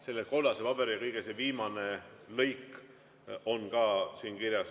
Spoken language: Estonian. Selle kollase paberi kõige viimases lõigus on see kirjas.